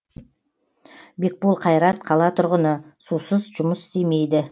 бекбол қайрат қала тұрғыны сусыз жұмыс істемейді